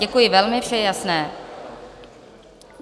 Děkuji velmi, vše je jasné.